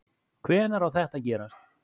Hvenær á þetta að gerast?